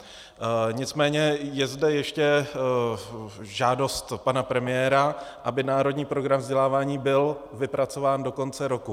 Nicméně je zde ještě žádost pana premiéra, aby Národní program vzdělávání byl vypracován do konce roku.